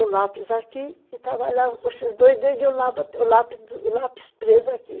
Põe o lápis aqui e trabalhava com esses dois o lápis preso aqui